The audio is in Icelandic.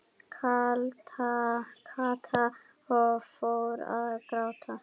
Kata og fór að gráta.